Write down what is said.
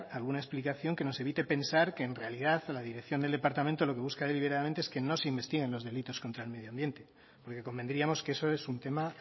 alguna explicación que nos evite pensar que en realidad la dirección del departamento lo que busca deliberadamente es que no se investiguen los delitos contra el medio ambiente porque convendríamos que eso es un tema